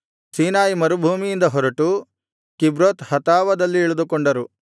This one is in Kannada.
ಸೀನಾಯಿ ಮರುಭೂಮಿಯಿಂದ ಹೊರಟು ಕಿಬ್ರೋತ್ ಹತಾವದಲ್ಲಿ ಇಳಿದುಕೊಂಡರು